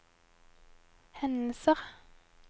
hendelser